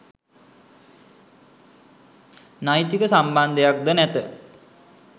නෛතික සම්බන්ධයක් ද නැත.